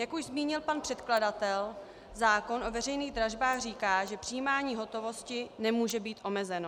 Jak už zmínil pan předkladatel, zákon o veřejných dražbách říká, že přijímání hotovosti nemůže být omezeno.